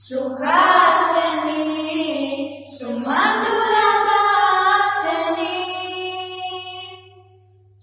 ಸುಹಾಸಿನೀಂ ಸುಮಧುರ ಭಾಷಿಣೀಂ